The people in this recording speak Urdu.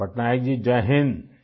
پٹنائک جی ، جے ہند